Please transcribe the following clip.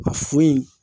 A foyi in